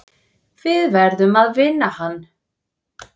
Við verðum að vinna hann.